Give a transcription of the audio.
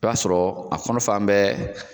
I b'a sɔrɔ a kɔnɔ fa bɛɛ